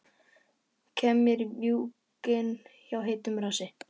Kem mér í mjúkinn hjá heitum rassi.